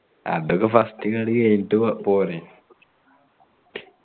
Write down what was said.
അതൊക്കെ first ഇങ്ങട് കേറീട്ട് പോരെ